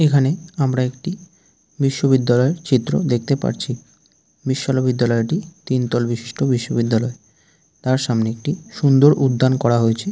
এখানে আমরা একটিই বিশ্ববিদ্যালয়ের চিত্র দেখতে পারছি বিশ্বআলবিদ্যালয়টি তিনতল বিশিষ্ট বিশ্ববিদ্যালয় তার সামনে একটি সুন্দর উদ্যান করা হয়েছেএ।